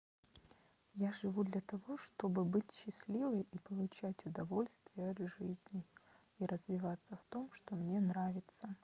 я живу для того чтобы быть счастливой и получать удовольствие от жизни и развиваться в том что мне нравится